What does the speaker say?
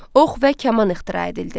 Ox və kaman ixtira edildi.